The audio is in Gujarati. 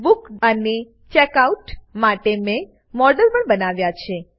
બુક અને ચેકઆઉટ માટે મેં મોડેલ પણ બનાવ્યા છે